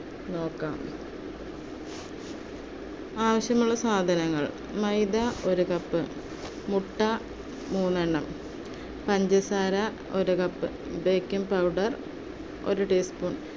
നോക്കാം. ആവശ്യമുള്ള സാധനങ്ങൾ മൈദ ഒരു cup, മുട്ട മൂന്നെണ്ണം, പഞ്ചസാര ഒരു cup, baking powder ഒരു teaspoon